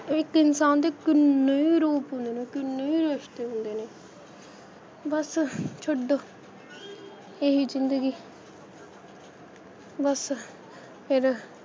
ਇੱਕ ਇਨਸਾਨ ਨੇ ਕਿੰਨੇ ਰੂਪ ਹੁੰਦੇ ਨੇ, ਕਿੰਨੇ ਈ ਰਿਸ਼ਤੇ ਹੁੰਦੇ ਨੇ ਬੱਸ ਛੱਡੋ ਇਹੀ ਜਿੰਦਗੀ ਬੱਸ ਏਦਾ,